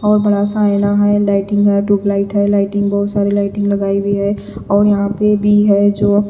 और बड़ा आईना है लाइटिंग है ट्यूबलाइट है लाइटिंग बहोत सारी लाइटिंग लगाई हुई है और यहां पे भी है जो--